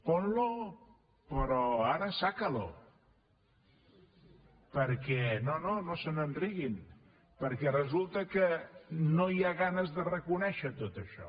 ponlo però ara riguin perquè resulta que no hi ha ganes de reconèixer tot això